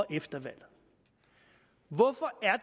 efter valget hvorfor er